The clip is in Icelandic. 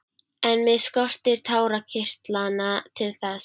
En mig skortir tárakirtlana til þess.